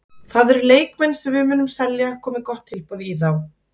Það eru leikmenn sem við munum selja komi gott tilboð í þá.